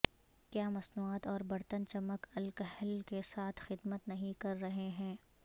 کیا مصنوعات اور برتن چمک الکحل کے ساتھ خدمت نہیں کر رہے ہیں